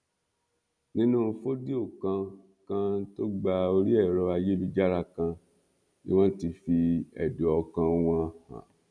nínú fòdíò kan kan tó gba orí ẹrọ ayélujára kan ni wọn ti fi ẹdùn ọkàn wọn hàn